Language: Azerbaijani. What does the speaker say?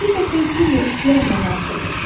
O həqiqətən küllə ixtiyar monarx idi.